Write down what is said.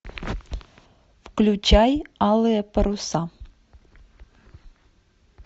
включай алые паруса